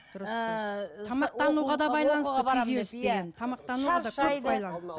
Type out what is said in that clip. тамақтануға да байланысты күйзеліс деген